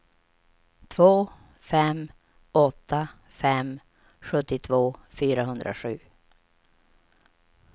två fem åtta fem sjuttiotvå fyrahundrasju